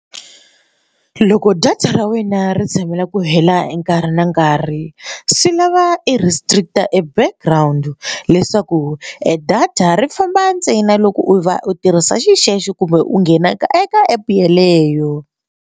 Loko data ra wena ri tshamela ku hela nkarhi na nkarhi swi lava i restrict-a a background leswaku e data ri famba ntsena loko u va u tirhisa xexo kumbe u nghena ka eka app yeleyo.